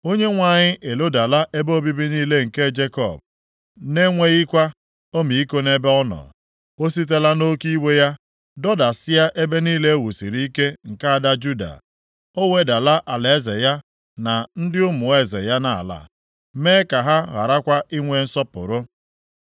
Onyenwe anyị elodala ebe obibi niile nke Jekọb; na-enweghịkwa ọmịiko nʼebe ọ nọ. O sitela nʼoke iwe ya dọdasịa ebe niile e wusiri ike nke ada Juda. Ọ wedala alaeze ya na ndị ụmụ eze ya nʼala, mee ka ha gharakwa ị nwee nsọpụrụ.